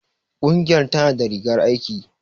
Ƙungiyar tana da rigar aiki.